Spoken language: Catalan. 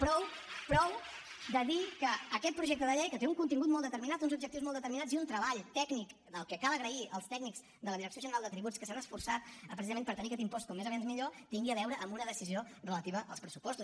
prou prou de dir que aquest projecte de llei que té un contingut molt determinat uns objectius molts determinats i un treball tècnic que cal agrair als tècnics de la direcció general de tributs que s’han esforçat precisament per tenir aquest impost com més aviat millor tingui a veure amb una decisió relativa als pressupostos